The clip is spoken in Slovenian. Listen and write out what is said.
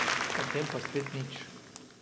O tem pa spet nič.